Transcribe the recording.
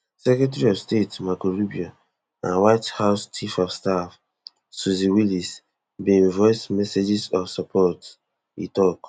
secretary of state marco rubio and white house chief of staff susie wiles bin voice messages of support e tok